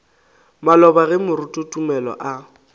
maloba ge moruti tumelo a